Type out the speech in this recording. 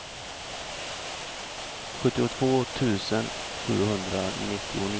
sjuttiotvå tusen sjuhundranittionio